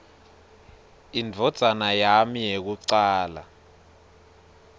indvodzana yami yekucala